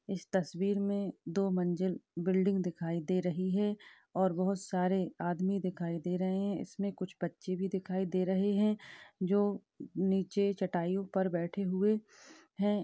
इस तस्वीर में दो मंजिल बिल्डिंग दिखाई दे रही है और बहुत सारे आदमी दिखाई दे रहे है इसमें कुछ बच्चे भी दिखाई दे रहे है जो नीचे चटाइयों पर बेठे हुए हैं।